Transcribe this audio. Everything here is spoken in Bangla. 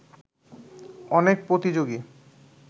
অনেক প্রতিযোগী